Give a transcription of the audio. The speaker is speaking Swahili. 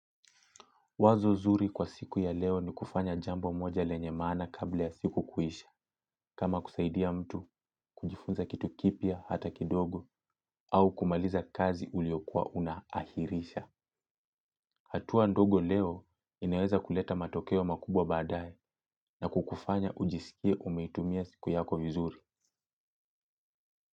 Wazo zuri kwa siku ya leo ni kufanya jambo moja lenye maana kabla ya siku kuisha, kama kusaidia mtu kujifunza kitu kipya hata kidogo au kumaliza kazi uliokuwa una ahirisha. Hatua ndogo leo inaweza kuleta matokeo makubwa baadaye na kukufanya ujisikie umeitumia siku yako vizuri.